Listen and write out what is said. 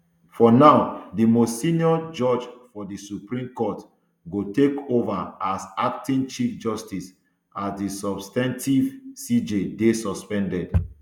for now di most senior judge for di supreme court go take ova as acting chief justice as di substantive cj dey suspended